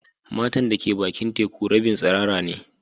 Matan da ke bakin teku rabin tsirara ne.